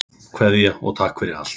Kveðja og takk fyrir allt.